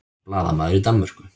Blaðamaður í Danmörku